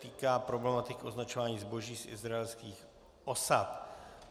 K problematice označování zboží z izraelských osad